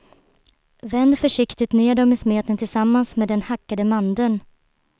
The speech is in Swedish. Vänd försiktigt ner dem i smeten tillsammans med den hackade mandeln.